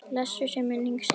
Blessuð sé minning Sindra.